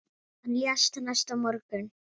Hann lést næsta morgun.